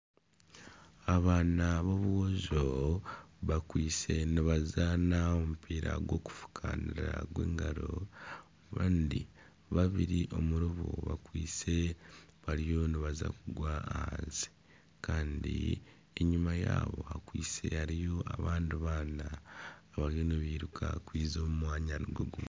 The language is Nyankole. Abaana b'aboojo bakwaitse nibazaana omupiira gw'okufukaanira gw'engaro kandi babiri omuri bo bakwaitse nibaza kugwa ahansi. Kandi enyima yabo hakwaise hariyo abandi abaana abariyo nibairuka kwija omu mwanya nigwo gumwe.